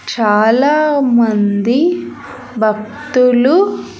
చాలామంది భక్తులు.